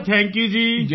thank you thank you